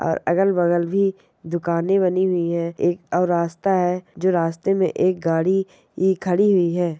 अ अगल बगल भी दुकाने बनी हुई है एक रास्ता है जो रास्ता में एक गाडी ही खड़ी हुई है।